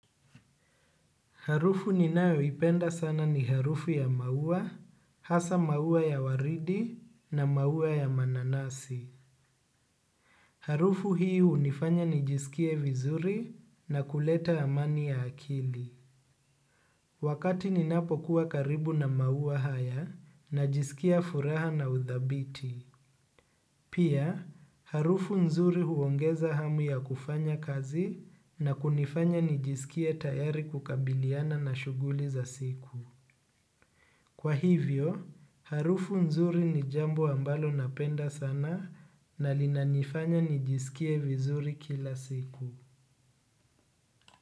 Harufu ninayoipenda sana ni harufu ya maua, hasa maua ya waridi na maua ya mananasi. Harufu hii unifanya nijisikie vizuri na kuleta amani ya akili. Wakati ninapokuwa karibu na maua haya najisikia furaha na udhabiti. Pia, harufu nzuri huongeza hamu ya kufanya kazi na kunifanya nijisikie tayari kukabiliana na shughuli za siku. Kwa hivyo, harufu nzuri ni jambo ambalo napenda sana na linanifanya nijisikie vizuri kila siku.